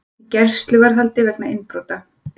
Í gæsluvarðhaldi vegna innbrota